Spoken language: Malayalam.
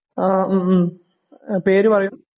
ആ ഹ്ം പേര് പറയൂ